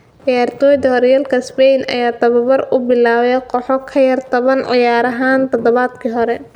Ciyaartoyda hooryalka spain ayaa tababar u bilaabay kooxo ka yar toban ciyaaryahan todobaadkii hore.